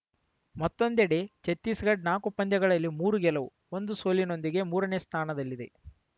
ಮತ್ತೊಂದೆಡೆ ಛತ್ತೀಸ್‌ಗಢ ನಾಕು ಪಂದ್ಯಗಳಲ್ಲಿ ಮೂರು ಗೆಲುವು ಒಂದು ಸೋಲಿನೊಂದಿಗೆ ಮೂರನೇ ಸ್ಥಾನದಲ್ಲಿದೆ